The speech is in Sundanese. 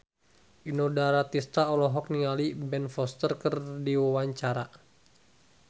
Inul Daratista olohok ningali Ben Foster keur diwawancara